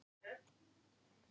Vilja að málið hefjist á ný